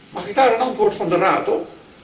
Mag ik daar een antwoord van de Raad op?